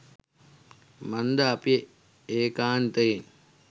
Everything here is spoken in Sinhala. මන්ද අපි ඒකාන්තයෙන්